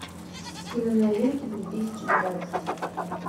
киноновинки две тысячи двадцать